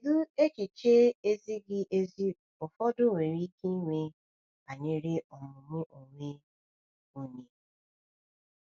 Kedu echiche ezighi ezi ụfọdụ nwere ike inwe banyere ọmụmụ onwe onye?